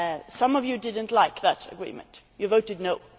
Some of you did not like that agreement. You voted no.